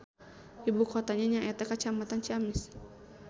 Ibu kotana nyaeta Kacamatan Ciamis.